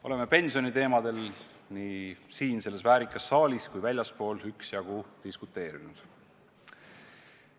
Oleme pensioniteemadel nii siin selles väärikas saalis kui ka väljaspool üksjagu diskuteerinud.